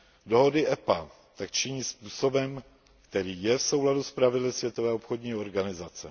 Dohody EPA tak činí způsobem, který je v souladu s pravidly Světové obchodní organizace.